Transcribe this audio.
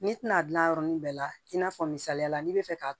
N'i tɛna gilan yɔrɔnin bɛɛ la i n'a fɔ misaliya la n'i bɛ fɛ ka